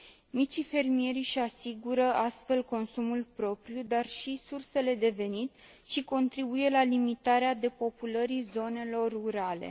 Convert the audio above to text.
Micii fermieri își asigură astfel consumul propriu, dar și sursele de venit și contribuie la limitarea depopulării zonelor rurale.